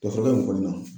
Dafara in kɔni na